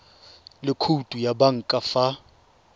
le khoutu ya banka fa